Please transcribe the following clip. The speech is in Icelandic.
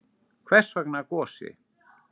Hvers vegna Gosi?